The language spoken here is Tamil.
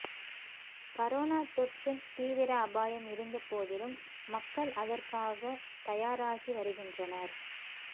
கரோனா தொற்றின் தீவிர அபாயம் இருந்தபோதிலும் மக்கள் அதற்காகத் தயாராகி வருகின்றனர்